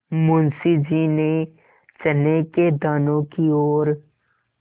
मुंशी जी ने चने के दानों की ओर